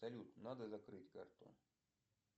салют надо закрыть карту